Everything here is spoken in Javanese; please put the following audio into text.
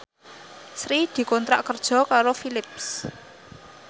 Sri dikontrak kerja karo Philips